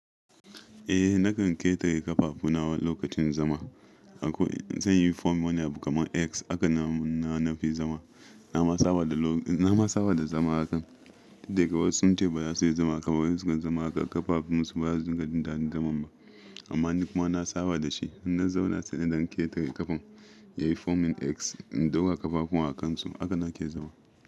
Eh nakan ketare ƙafafuna lokacin zama. Zanyi form wani abu kaman X aka na nafi zama. Na ma saba da na ma saba da zama hakan. Daga wai sun ce baza su yi zama haka wai sukan zama haka ƙafafun su ba su dinga jin dadain zaman ba amma ni kuma na saba da shi. In na zauna sai na dan ketare ƙafan yayi formin X in ɗaura ƙafafuwan a kansu haka nake zama.